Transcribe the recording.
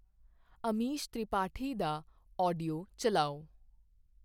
ਅਮੀਸ਼ ਤ੍ਰਿਪਾਠੀ ਦਾ ਆਡੀਓ ਚੱਲਾਓ